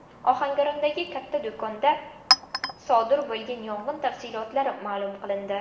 Ohangarondagi katta do‘konda sodir bo‘lgan yong‘in tafsilotlari ma’lum qilindi.